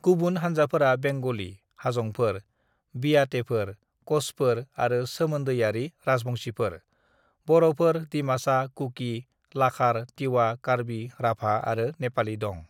"गुबुन हान्जाफोरा बेंग'लि, हाजंफोर, बियातेफोर, कछफोर आरो सोमोन्दोयारि राजबंशिफोर, बर'फोर, दिमासा, कुकी, लाखार, तिवा, कार्बी, राभा आरो नेपालि दं।"